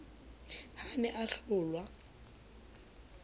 ha a ne a hlolwa